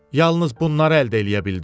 Yalnız bunları əldə eləyə bildim.